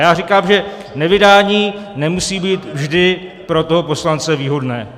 Já říkám, že nevydání nemusí být vždy pro toho poslance výhodné.